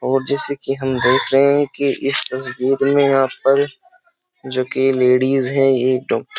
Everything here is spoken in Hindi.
और जैसे कि हम देख रहे हैं कि इस तस्वीर में यहाँ पर जो कि लेडीज हैं। एक डॉक्ट --